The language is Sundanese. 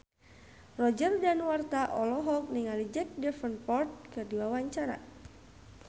Roger Danuarta olohok ningali Jack Davenport keur diwawancara